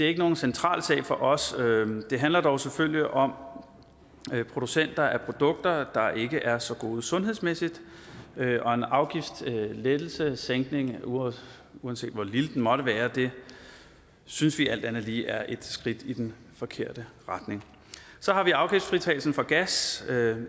er nogen central sag for os det handler dog selvfølgelig om producenter af produkter der ikke er så gode sundhedsmæssigt og en afgiftslettelse uanset uanset hvor lille den måtte være synes vi alt andet lige er et skridt i den forkerte retning så har vi afgiftsfritagelsen for gas